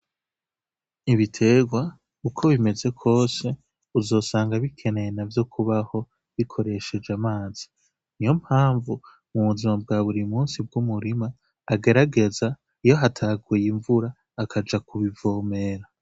Ibitegwa uko bimeze kwose uzosanga bikeneye navyo kubaho bikoresheje amazi, niyo mpamvu mubuzima bwa burimunsi bw'umurima agerageza iyo hataguye imvura akaja kubivomera.